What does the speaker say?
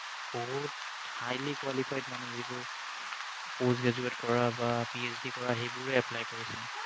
বহুত highly qualified মানুহ যিবোৰ post graduate কৰা বা PhD কৰা সেইবোৰে apply কৰিছে।